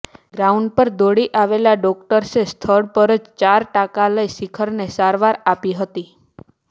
ground પર દોડી આવેલાં ડોક્ટર્સે સ્થળ પર જ ચાર ટાંકા લઈ શિખરને સારવાર આપી હતી